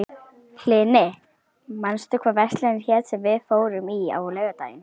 Hlini, manstu hvað verslunin hét sem við fórum í á laugardaginn?